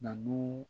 Nabu